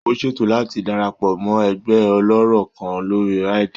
Ó ṣètò láti darapọ̀ mọ́ ẹgbẹ́ ọlọ́rọ̀ kan lórí Reddit.